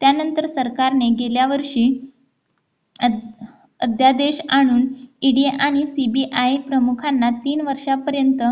त्यानंतर सरकारने गेल्या वर्षी अध्यादेश आणून ED आणि CBI प्रमुखांना तीन वर्षापर्यंत